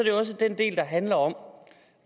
jo også den del der handler om